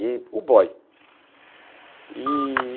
E o boy. E